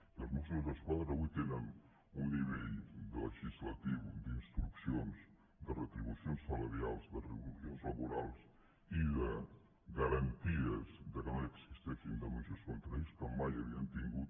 i els mossos d’es·quadra d’avui tenen un nivell legislatiu d’instruccions de retribucions salarials de retribucions laborals i de garanties que no existeixin denúncies contra ells que mai havien tingut